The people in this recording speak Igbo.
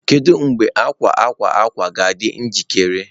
Kedu mgbe akwa akwa akwa ga-adị njikere?